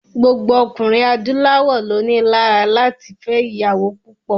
Gbogbo ọkùnrin adúláwọ̀ ló ni lára láti fẹ́ ìyàwó púpọ̀.